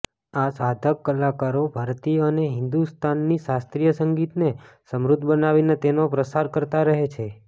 આ સાધક કલાકારો ભારતીય અને હિન્દુસ્તાની શાસ્ત્રીય સંગીતને સમૃદ્ધ બનાવીને તેનો પ્રસાર કરતા રહે છે